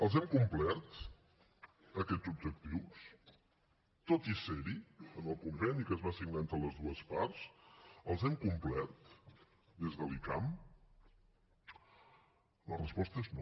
els hem complert aquests objectius tot i ser hi en el conveni que es va signar entre les dues parts els hem complert des de l’icam la resposta és no